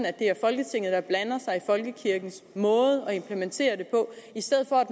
at det er folketinget der blander sig i folkekirkens måde at implementere det på i stedet for at